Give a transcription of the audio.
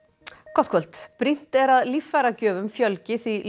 gott kvöld brýnt er að líffæragjöfum fjölgi því